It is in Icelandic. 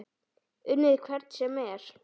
Unnið hvern sem er?